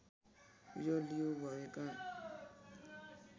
यो लियु भएका